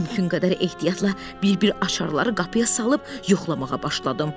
Mümkün qədər ehtiyatla bir-bir açarları qapıya salıb yoxlamağa başladım.